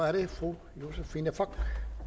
er det fru josephine fock